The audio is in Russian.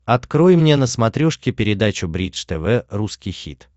открой мне на смотрешке передачу бридж тв русский хит